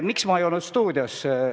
Miks ma ei olnud stuudios maskiga?